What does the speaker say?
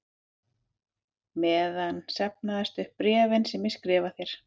meðan safnast upp bréfin sem ég skrifa þér.